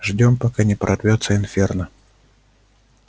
ждём пока не прорвётся инферно